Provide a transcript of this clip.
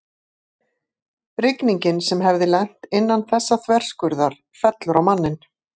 Rigningin sem hefði lent innan þessa þverskurðar fellur á manninn.